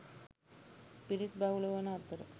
පිරිස් බහුල වන අතර